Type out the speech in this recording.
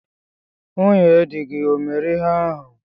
Nwunye dị gi ọ mere ihe ahụ?